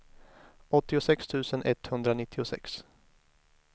åttiosex tusen etthundranittiosex